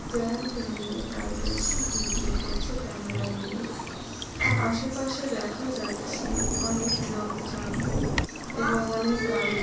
trend নিয়ে দাঁড়িয়ে আছি ভিডিও করছে ক্যামেরা নিয়ে আশেপাশে দেখা যাচ্ছে অনেক লোকজন এবং অনেক গাড়ি |